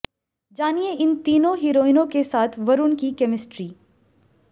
जानिए इन तीनों हीरोइनों के साथ वरूण की केमिस्ट्री